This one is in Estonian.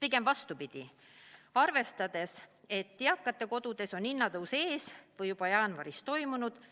Pigem vastupidi, arvestades, et eakate kodudes on hinnatõus ees või juba jaanuaris toimunud –